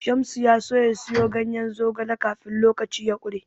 Shamsu ya so ya siyo ganyen zogale kafin lokaci ya ƙure.